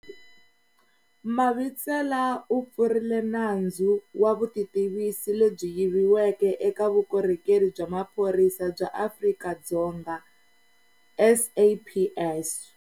Mabitsela u pfurile nandzu wa vutitivisi lebyi yiviweke eka Vukorhokeri bya Maphorisa bya Afrika-Dzonga, SAPS.